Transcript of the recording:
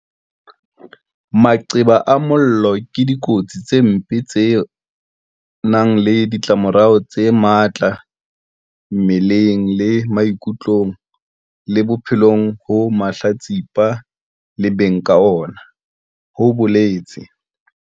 Maqeba a mollo ke dikotsi tse mpe tse nang le ditlamorao tse matla mmeleng le maikutlong le bophelong ho mahlatsipa le beng ka ona, ho boletse